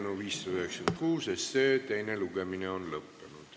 Eelnõu 596 teine lugemine on lõppenud.